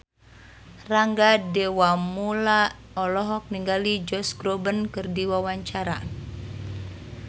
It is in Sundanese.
Rangga Dewamoela olohok ningali Josh Groban keur diwawancara